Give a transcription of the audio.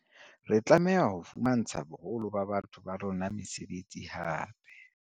Re tlameha ho fumantsha boholo ba batho ba rona mesebetsi hape.